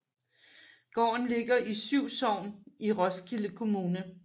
Gården ligger i Syv Sogn i Roskilde Kommune